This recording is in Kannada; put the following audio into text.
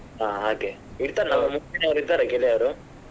ಹಾ ಹಾಗೆ ಇರ್ತಾರ ನವ್ರು ಇದ್ದರಾ ಗೆಳೆಯರು?